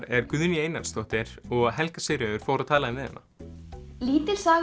er Guðný Einarsdóttir og Helga Sigríður fór og talaði við hana lítil saga